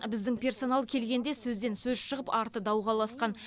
біздің персонал келгенде сөзден сөз шығып арты дауға ұласқан